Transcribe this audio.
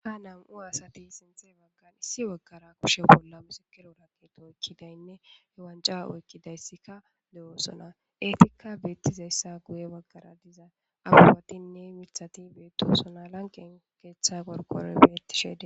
Ha nam'u asati sinthe baggan issi baggara kushe bolla misikero raqeto ekkidaynne ewanca oykkidayssika de'oosona eetikka beettizayssa guye baggara diza awufatinne mithati beettosona lanqen keeththa korkoroy beettishe